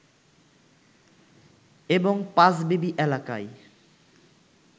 এবং পাঁচবিবি এলাকায়